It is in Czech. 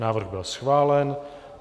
Návrh byl schválen.